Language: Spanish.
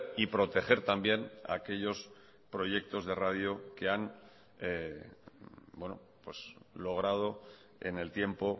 y proteger también aquellos proyectos de radio que han logrado en el tiempo